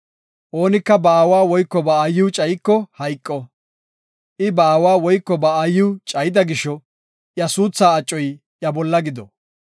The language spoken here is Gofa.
“Oonika ba aawa woyko ba aayiw cayiko hayqo. I ba aawa woyko ba aayiw cayida gisho, iya suutha acoy iya bolla gido.